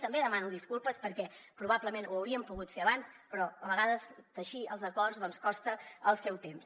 també en demano disculpes perquè probablement ho hauríem pogut fer abans però a vegades teixir els acords costa el seu temps